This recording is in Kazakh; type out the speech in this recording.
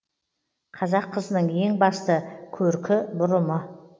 қазақ қызының ең басты көркі бұрымы